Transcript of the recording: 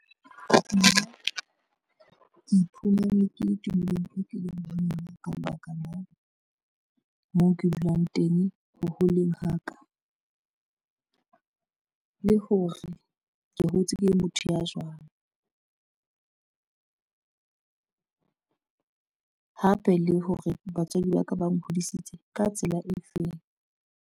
Nna ke iphumane ke tumelong eo ke leng ho yona ka lebaka la moo ke dulang teng, ho holeng ha ka. Le hore ke hotse ke le motho ya jwang, hape le hore batswadi ba ka ba nghodisitse ka tsela e feng.